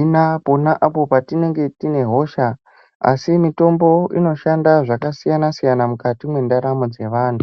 ina pona patinenge tine hosha. Asi, mitombo inoshanda zvakasiyana siyana mukati mendaramo dzavantu.